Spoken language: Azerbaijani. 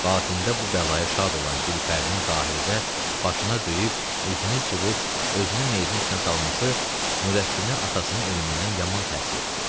Batində bu bəlaya şad olan Gülpərinin zahirdə başına döyüb, üzünü cırıb, özünü meyidin üstünə salması Nurəddinə atasının ölümündən yaman təsir etdi.